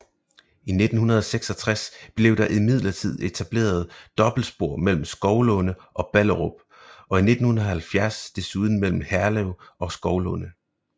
I 1966 blev der imidlertid etableret dobbeltspor mellem Skovlunde og Ballerup og i 1970 desuden mellem Herlev og Skovlunde